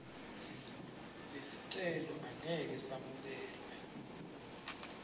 lesicelo angeke semukelwe